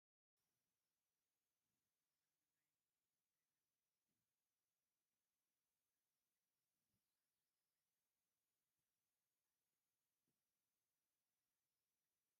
ኣብ ሓምለዋይ ገረብ ዉሕጅ ይወርድ ኣሎ ኣብቲ ገርብ ፃዕዳ ግመ ኣሎ ። እዚ ቦታ ኣበይ ክልል ን ወረዳ ን ይርከብ ?